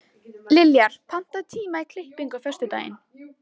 Liljar, pantaðu tíma í klippingu á föstudaginn.